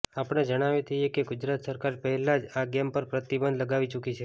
આપણે જણાવી દઈએ કે ગુજરાત સરકાર પહેલા જ આ ગેમ પર પ્રતિબંધ લગાવી ચુકી છે